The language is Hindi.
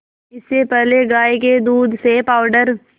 इससे पहले गाय के दूध से पावडर